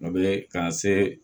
O be ka se